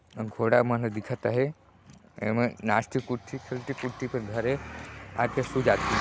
अब घोड़ा मन ह दिखत है एमा घर हे आ के सु जाथे।